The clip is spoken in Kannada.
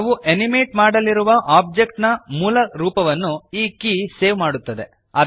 ನಾವು ಅನಿಮೇಟ್ ಮಾಡಲಿರುವ ಓಬ್ಜೆಕ್ಟ್ ನ ಮೂಲ ರೂಪವನ್ನು ಈ ಕೀ ಸೇವ್ ಮಾಡುತ್ತದೆ